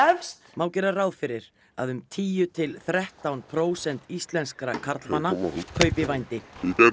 má gera ráð fyrir að um tíu til þrettán prósent íslenskra karlmanna kaupi vændi